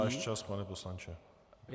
Váš čas, pane poslanče.